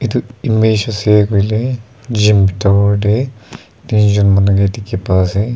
tu image ase koile gym bitor te tinjon manu ke dikhi pa ase.